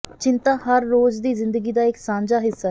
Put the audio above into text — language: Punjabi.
ਚਿੰਤਾ ਹਰ ਰੋਜ਼ ਦੀ ਜ਼ਿੰਦਗੀ ਦਾ ਇਕ ਸਾਂਝਾ ਹਿੱਸਾ ਹੈ